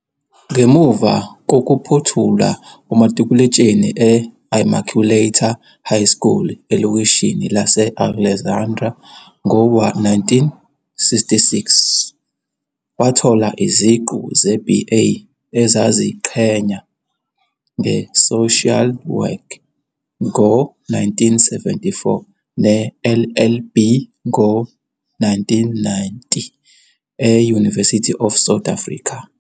Ngemuva kokuphothula umatikuletsheni e-Immaculata High School elokishini lase-Alexandra ngo-1966, wathola iziqu ze-BA ezaziqhenya ngeSocial Work ngo-1974 ne-LLB ngo-1990 e-University of South Africa.